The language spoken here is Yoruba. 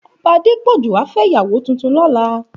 Òbá Adepoju á fè iyàwó tútún lòlá